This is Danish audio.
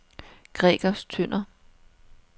Gregers Tønder